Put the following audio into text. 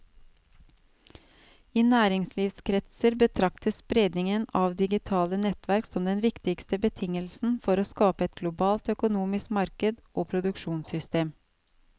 I næringslivskretser betraktes spredningen av digitale nettverk som den viktigste betingelsen for å skape et globalt økonomisk marked og produksjonssystem.